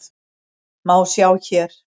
má sjá hér.